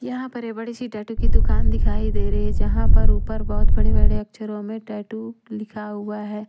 यहाँ पर ये बड़ी सी टैटू की दुकान दिखाई दे रही है यहां पर ऊपर बहुत बड़े-बड़े अक्षरों में टैटू लिखा हुआ है।